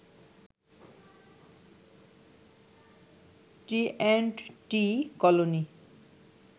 T and T colony